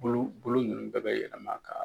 Bolo bolo ninnu bɛɛ bɛ yɛlɛma ka